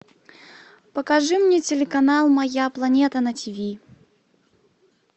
покажи мне телеканал моя планета на тиви